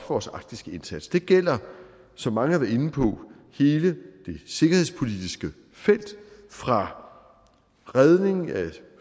vores arktiske indsats det gælder som mange har været inde på hele det sikkerhedspolitiske felt fra redning af